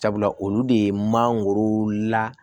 Sabula olu de ye mangoro la